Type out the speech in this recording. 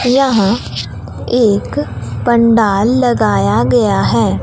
यहां एक पंडाल लगाया गया है।